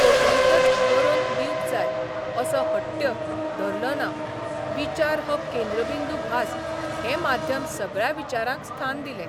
कोंकर्णीतच बरोवन दिवंक जाय असो हट्ट्य धरलोना विचार हो केंद्रबिंदू भास हैं माध्यम सगळ्या विचारांक स्थान दिलें.